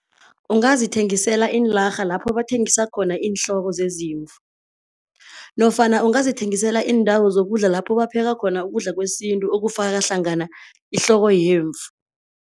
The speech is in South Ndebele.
Ungazithengisela iinlarha lapho bathengisa khona iinhloko zezimvu nofana ungazithengisela iindawo zokudla lapho bapheka khona ukudla kwesintu okufaka hlangana ihloko yemvu.